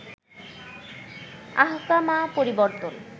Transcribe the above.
আহকামা পরিবর্তন